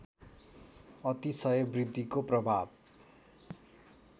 अतिशय वृद्धिको प्रभाव